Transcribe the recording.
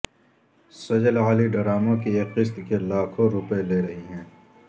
سجل علی ڈراموں کی ایک قسط کے لاکھوں روپے لے رہی ہیں